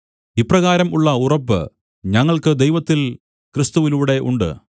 ഇപ്രകാരം ഉള്ള ഉറപ്പ് ഞങ്ങൾക്ക് ദൈവത്തിൽ ക്രിസ്തുവിലൂടെ ഉണ്ട്